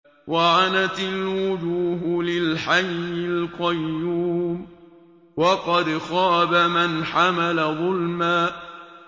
۞ وَعَنَتِ الْوُجُوهُ لِلْحَيِّ الْقَيُّومِ ۖ وَقَدْ خَابَ مَنْ حَمَلَ ظُلْمًا